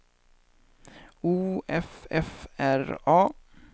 O F F R A